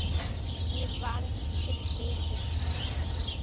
Ég varð fyrir slysi